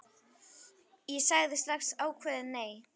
Ég sagði strax ákveðið nei.